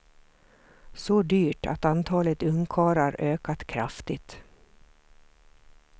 Så dyrt att antalet ungkarlar ökat kraftigt.